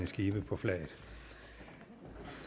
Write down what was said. skibe på flaget